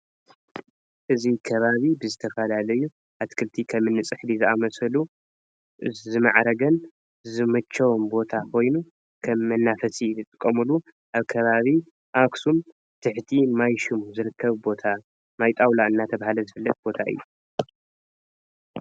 እዚ ከባቢ ብዝተፋላለዩ አትክልቲ ከም እኒ ፅሕዲ ዝኣመሰሉ ዝማዕርገን ዝመቸወን ቦታ ኮይኑ ከም መናፈሲ ዝጥቀምሉ አብ ከባቢ አክሱም ትሕቲ ማይ ሹም ዝርከብ ቦታ ማይ ጣውላ እናተብሃለ ዝፍለጥ ቦታ እዩ።